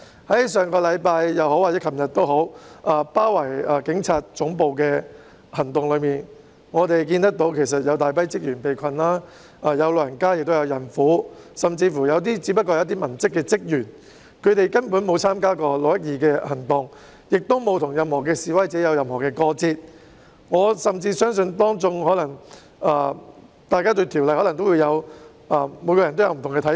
在上星期或昨天包圍警察總部的行動中，我們看見有大批職員被困，當中包括長者和孕婦，甚至有部分只是文職人員，他們根本沒有參與6月12日的行動，亦沒有與任何示威者有過節，我甚至相信他們對《條例草案》亦可能有不同的看法。